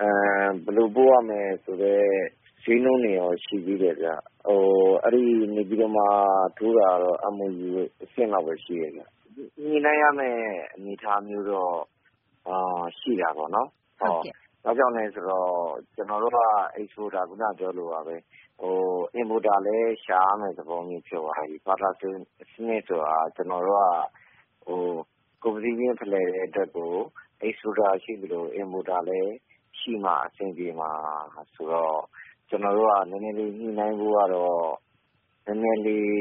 ၊ ဘယ်လိုပို့ရမယ်ဆိုတဲ့ ဈေးနှုန်းတွေရော ရှိသေးတယ်ဗျ။ နေပြည်တော်မှာ ထိုးတာကတော့ MOU အဆင့်ဘဲ ရှိတယ်ဗျ။ ညှိနှိုင်းရမယ့် အနေအထားတော့ ရှိတာပေါ့နော်။ ဘာကြောင့်လဲ ဆိုတော့ ကျနော်တို့က Exporter ခုန ပြောသလိုပါဘဲ Importer လည်း ရှာရမယ့် သဘောဖြစ်သွားပြီ။ ဘာဖြစ်လို့လဲ ဆိုတော့ ဘာတာ စနစ်ဆိုတာ ကျနော်တို့က ကုန်ပစ္စည်းခြင်း ဖလှယ်တဲ့ အတွက်ကို Exporter ရှိသလို Importer လည်း ရှိမှ အဆင်ပြေမှာ ဆိုတော့ ကျနော်တို့က နည်းနည်းလေး ညှိနှိုင်းဖို့ကတော့ နည်းနည်းလေး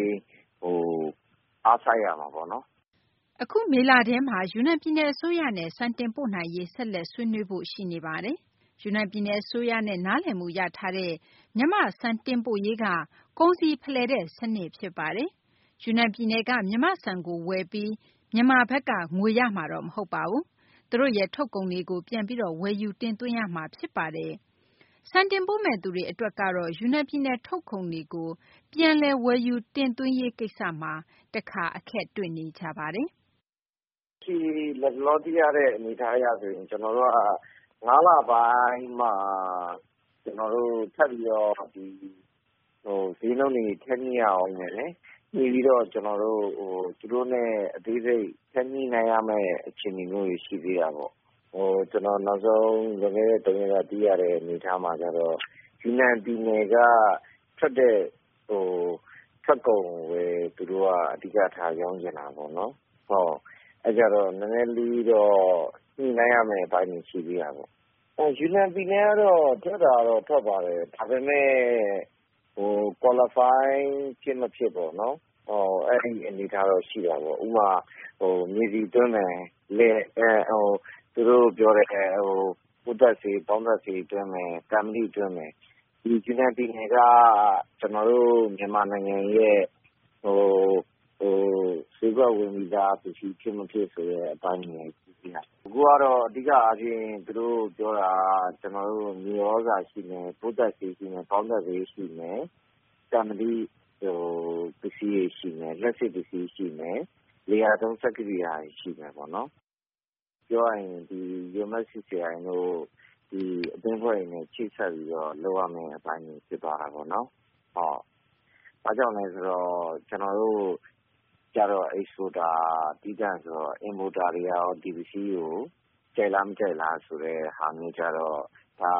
အားစိုက်ရမှာပေါ့နော်။ အခု မေလထဲမှာ ယူနန်ပြည်နယ် အစိုးရနဲ့ ဆက်လက် ဆွေးနွေးဖို့ ရှိနေပါတယ်။ ယူနန် ပြည်နယ် အစိုးရနဲ့ နားလည်မှု ရထားတဲ့ မြန်မာ့ ဆန် တင်ပို့ရေးက ကုန်စည်ဖလှယ်တဲ့ စနစ် ဖြစ်ပါတယ်။ ယူနန် ပြည်နယ်က မြန်မာ့ဆန်ကို ဝယ်ပြီး မြန်မာဘက်က ငွေရမှာတော့ မဟုတ်ပါဘူး။ သူတို့ရဲ့ ထုတ်ကုန်တွေကို ပြန်ပြီးတော့ ဝယ်ယူတင်သွင်းရမှာ ဖြစ်ပါတယ်။ ဆန်တင်ပို့မယ့်သူတွေကတော့ ယူနန်ပြည်နယ် ထုတ်ကုန်တွေကို ပြန်လည် ဝယ်ယူ တင်သွင်းရေး ကိစ္စမှာ တခါ အခက်တွေ့နေကြပါတယ်။ လတ်တလော သိထားရတဲ့ အနေအထား အရဆို ကျနော်တို့က ၅ လပိုင်းမှ ကျနော်တို့ ထပ်ပြီးတော့ ဈေးနှုန်းတွေ ထပ်ညှိရဦးမယ်။ ညှိပြီးတော့ သူတို့နဲ့ အသေးစိတ် ထပ်ညှိနှိုင်းရမယ့် အခြေအနေတွေ ရှိသေးတာပေါ့။ ကျနော် နောက်ဆုံး လွန်ခဲ့တဲ့ သုံးရက်က သိရတဲ့ အနေအထား အရဆို ယူနန် ပြည်နယ်က ထွက်တဲ့ ထွက်ကုန်ကိုဘဲ သူတို့က အဓိကထား ရောင်းချင်တာပေါ့နော်။ အဲတော့ နည်းနည်းလေးတော့ ညှိနှိုင်းရမယ့် အပိုင်းတွေ ရှိသေးတာပေါ့။ ယူနန် ပြည်နယ်ကတော့ ထွက်တာကတော့ ထွက်ပါတယ်။ ဒါပေမယ့် Qualify ဖြစ်မဖြစ်ပေါ့နော် အဲဒီ အနေအထားတော့ ရှိတာပေါ့။ ဥပမာ မြေဆီ သွင်းမယ်၊ သူတို့ ပြောတဲ့ ပိုးသတ်ဆေး၊ ပေါင်းသတ်ဆေး သွင်းမယ်၊ သံမဏိ သွင်းမယ်။ ဒီယူနန် ပြည်နယ်က ကျနော်တို့ မြန်မာနိုင်ငံရဲ့ ဈေးကွက်ဝင်ပြီးသား ပစ္စည်း ဖြစ်မဖြစ် ဆိုတဲ့ အပိုင်းတွေလည်း ရှိတယ်။ အခုကတော့ အဓိက အားဖြင့် သူတို့ ပြောတာက ကျနော်တို့ မြေသြဇာ ရှိမယ်၊ ပိုးသတ်ဆေး ရှိမယ်၊ ပေါင်းသတ်ဆေး ရှိမယ်၊ သံမဏိ ပစ္စည်းတွေ ရှိမယ်၊ လျှပ်စစ် ပစ္စည်းတွေ ရှိမယ်၊ လယ်ယာသုံး စက်ကိရိယာတွေ ရှိမယ်ပေါ့နော်။ ပြောရရင် ဒီ UMFCCI တို့ ဒီ အသင်းအဖွဲ့တွေနဲ့ ချိတ်ဆက်ပြီး လုပ်ရမယ့် အပိုင်းတွေ ဖြစ်သွားတာပေါ့နော်။ ဘာကြောင့်လဲ ဆိုတော့ ကျနေ်ာတို့ကျတော့ Exporter သီးသန့် ဆိုတော့ Importer တွေကရော ဒီပစ္စည်းတွေကို ကြိုက်လား မကြိုက်လားဆိုတဲ့ ဟာမျိုးကျတော့ ဒါ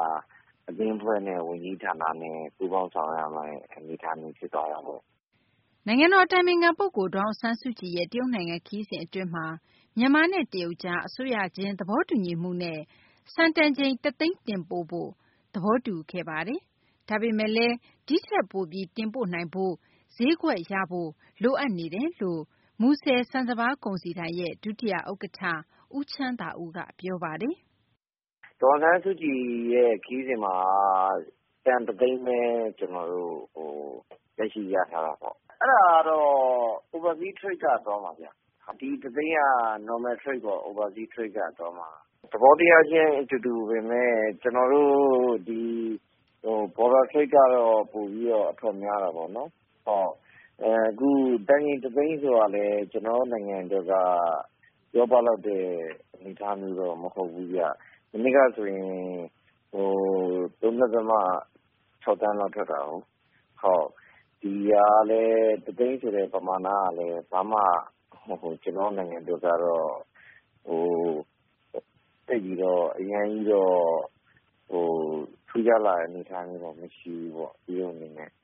အသင်းအဖွဲ့နဲ့ ဝန်ကြီးဌာနနဲ့ ပူးပေါင်းဆောင်ရွက်ရမယ့် အနေအထားမျိုး ဖြစ်သွားတာပေါ့။ နိုင်ငံတော် အတိုင်ပင်ခံ ပုဂ္ဂိုလ် ဒေါ်အောင်ဆန်းစုကြည်ရဲ့ တရုတ်နိုင်ငံ ခရီးစဉ် အတွင်းမှာ မြန်မာနဲ့ တရုတ်ကြား အစိုးရခြင်း သဘောတူညီချက်နဲ့ ဆန်တန်ချိန် တသိန်း တင်ပို့ဖို့ သဘောတူ ခဲ့ပါတယ်။ ဒါပေမယ့်လည်း ဒီထက်ပိုပြီး တင်ပို့နိုင်ဖို့၊ ဈေးကွက်ရဖို့ လိုအပ်နေတယ်လို့ မူဆယ် ဆန်စပါး ကုန်စည်ဒိုင် ဒုတိယ ဥက္ကဌ ဦးချမ်းသာဦးက ပြောပါတယ်။ ဒေါ်အောင်ဆန်းစုကြည်ရဲ့ ခရီးစဉ်မှာက တန် တသိန်းဘဲ လက်ရှိရထားတာပေါ့။ အဲဒါကတော့ Oversea Trade က သွားမှာဗျ။ ဒီ တသိန်းက Normal Trade ပေါ့ Oversea Trade က သွားမှာ။ သဘောတရားခြင်း အတူတူပေမယ့် ကျနော်တို့ ဒီ Border Trade ကတော့ ပိုပြီး အထွက်များတာပေါ့။ တန်ချိန် တသိန်း ဆိုတာလည်း ကျနော်တို့ နိုင်ငံ အတွက်က ပြောပလောက်တဲ့ အနေအထားမျိုးတော့ မဟုတ်ဘူးဗျ။ မနှစ်ကဆိုရင် ၃ ဒသမ ၆ သန်းလောက် ထွက်တာကိုး။ ဒီ တသိန်းဆိုတဲ့ ပမာဏကတော့ ဘာမှ ကျနော်တို့ နိုင်ငံ အတွက်ကတော့ သိပ်ပြီးတော့ အရမ်းကြီးတော့ ထူးခြားလာတဲ့ အနေအထားမျိုးတော့ မရှိဘူးပေါ့။ တရုတ် အနေနဲ့။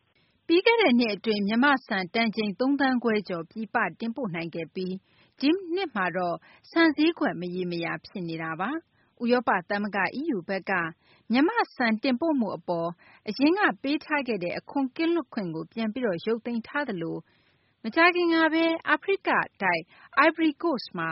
ပြီးခဲ့တဲ့နှစ် အတွင်း မြန်မာ့ဆန် သုံးသန်းခွဲကျော် ပြည်ပတင်ပို့ နိုင်ခဲ့ပြီး ဒီနှစ်မှာတော့ ဆန်ဈေးကွက် မရေမရာ ဖြစ်နေတာပါ။ ဥရောပ သမဂ္ဂ EU က မြန်မာ့ဆန် တင်ပို့မှု အပေါ် အရင်က ပေးထားခဲ့တဲ့ အခွန် ကင်းလွတ်ခွင့်ကို ပြန်ပြီးတော့ ရုပ်သိမ်းထားသလို မကြာခင်ကဘဲ အာဖရိက အိုင်ဗရီကိုစ့်မှာ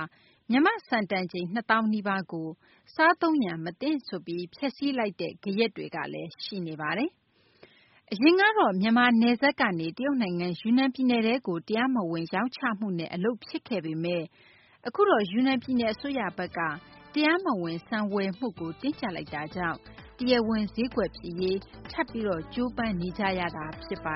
မြန်မာ့ဆန် တန်ချိန် ၂ သောင်းကို စားသုံးရန် မသင့်ဆိုပြီး ဖျက်စီးလိုက်တဲ့ ဂယက်တွေကလည်း ရှိနေပါတယ်။ အရင်ကတော့ မြန်မာ နယ်စပ်ကနေ တရုတ်နိုင်ငံ ယူနန် ပြည်နယ်ထဲကို တရားမဝင် ရောင်းချမှုနဲ့ အလုပ်ဖြစ်ခဲ့ပေမယ့် အခုတော့ ယူနန် ပြည်နယ် အစိုးရဘက်က တရားမဝင် ဆန်ဝယ်မှုကို တင်းကြပ်လိုက်တာကြောင့် တရားဝင် ဈေးကွက်ဖြစ်ရေး ထပ်ပြီးတော့ ကြိုးပမ်းနေကြရတာ ဖြစ်ပါ